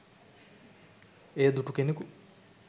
එය දුටු කෙනකු